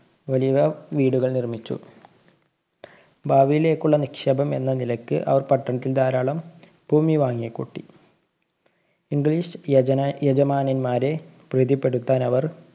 വലിയ വീടുകള്‍ നിര്‍മ്മിച്ചു. ഭാവിയിലേക്കുള്ള നിക്ഷേപം എന്ന നിലക്ക് അവര്‍ പട്ടണത്തില്‍ ധാരാളം ഭൂമി വാങ്ങിക്കൂട്ടി. english യജമാ~യജമാനന്മാരെ പ്രീതിപ്പെടുത്താനവര്‍